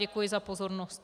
Děkuji za pozornost.